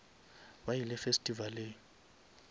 ba ile festivaleng